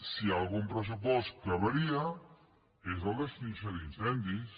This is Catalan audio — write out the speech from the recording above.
si hi ha algun pressupost que varia és el d’extinció d’incendis